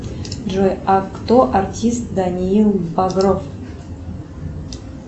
джой а кто артист даниил багров